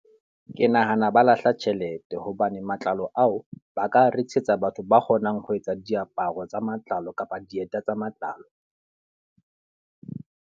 Ke nahana ba lahla tjhelete, hobane matlalo ao ba ka rekisetsa batho ba kgonang ho etsa diaparo tsa matlalo kapa dieta tsa matlalo.